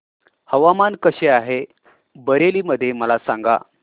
हवामान कसे आहे बरेली मध्ये मला सांगा